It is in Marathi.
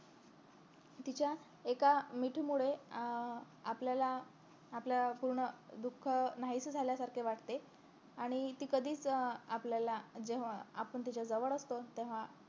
तिच्या एका मिठी मुळे अं आपल्याला आपलं पूर्ण दुःख नाहीस झाल्यासारखे वाटते आणि ती कधीच अं आपल्याला जेव्हा आपण तिच्या जवळ असतो तेव्हा